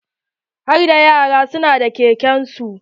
Harda yaran su na da keken su.